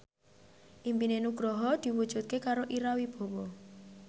impine Nugroho diwujudke karo Ira Wibowo